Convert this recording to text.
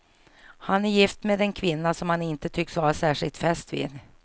Han är gift med en kvinna som han inte tycks vara särskilt fäst vid.